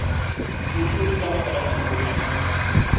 kutung ka baka la dibokonyana